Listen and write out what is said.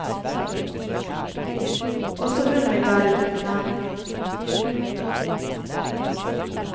Også hun vil være uten navn.